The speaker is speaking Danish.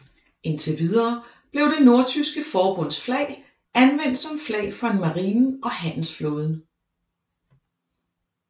Indtil videre blev det Nordtyske Forbunds flag anvendt som flag for marinen og handelsflåden